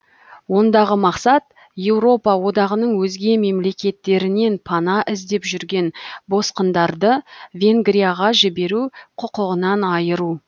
ондағы мақсат еуропа одағының өзге мемлекеттерінен пана іздеп жүрген босқындарды венгрияға жіберу құқығынан айыру